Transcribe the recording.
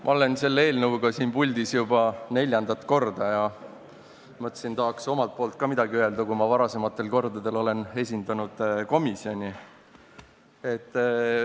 Ma olen selle eelnõuga siin puldis juba neljandat korda ja mõtlesin, et tahaks omalt poolt ka midagi öelda, sest varasematel kordadel olen esindanud komisjoni.